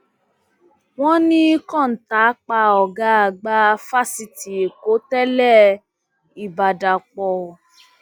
wọn ní kọńtà pa ọgá àgbà fásitì ẹkọ tẹlẹ ìbádàpọ